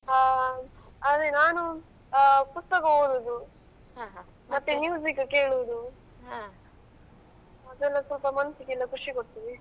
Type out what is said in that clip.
ಹಾ ಅದೇ ನಾನು ಪುಸ್ತಕ ಓದುದು ಮತ್ತೆ ಕೇಳುದು ಅದೆಲ್ಲ ಸ್ವಲ್ಪ ಮನಸಿಗೆಯೆಲ್ಲ ಖುಷಿ ಕೊಡ್ತದೆ.